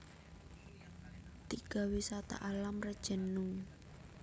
Tiga Wisata Alam Rejenu